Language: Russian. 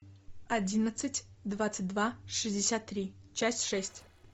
одиннадцать двадцать два шестьдесят три часть шесть